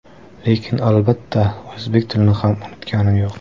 Lekin albatta, o‘zbek tilini ham unutganim yo‘q.